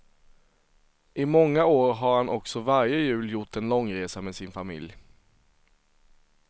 I många år har han också varje jul gjort en långresa med sin familj.